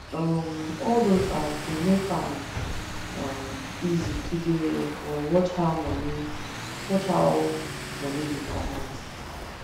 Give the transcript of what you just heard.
um all those apps dey make am um easy to dey um watch how money watch how money dey comot